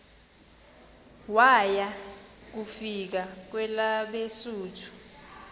waya kufika kwelabesuthu